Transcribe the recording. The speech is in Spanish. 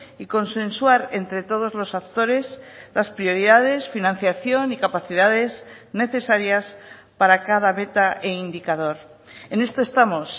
y consensuar entre todos los actores las prioridades financiación y capacidades necesarias para cada meta e indicador en esto estamos